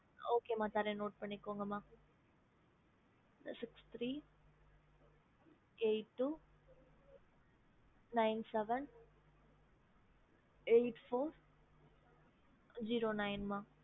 ஹம்